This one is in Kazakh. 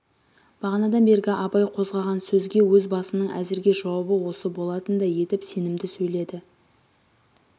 бағанадан бергі абай қозғаған сөзге өз басының әзірге жауабы осы болатындай етіп сенімді сейледі